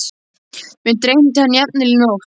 Mig dreymdi hann jafnvel í nótt.